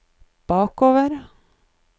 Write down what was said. bakover